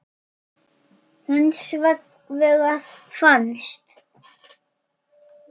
Hins vegar fannst